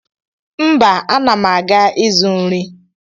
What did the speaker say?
Mba ana m aga ịzụ nri.